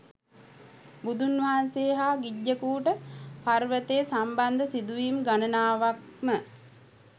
බුදුන්වහන්සේ හා ගිජ්ජකූට පර්වතය සම්බන්ධ සිදුවීම් ගනනාවක්ම